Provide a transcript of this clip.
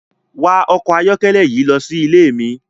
Wakọ ọkọ ayọkẹlẹ yii losi ile mi!